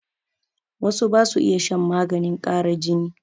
Wasu ba su iya shan maganin ƙara jini.